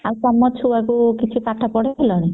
ଆଉ ତମ ଛୁଆ କୁ କିଛି ପାଠ ପଢ଼େଇ ଲାଣି